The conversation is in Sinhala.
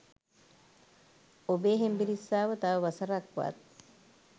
ඔබේ හෙම්බිරිස්සාව තව වසර ක් වත්